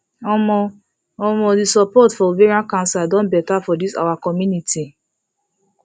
omo omo the support for ovarian cancer don better for this our community